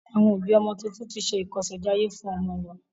Àwọn ọ̀bí ọmọ tuntun tí ṣe ìkọsèjayé fún ọmọ wọn.